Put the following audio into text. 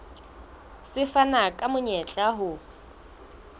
se fana ka monyetla o